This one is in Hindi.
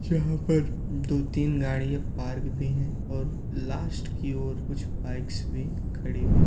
जहाँ पर दो तीन गाड़ियां पार्क भी है और लास्ट की ओर कुछ बाइक्स भी खड़ी है।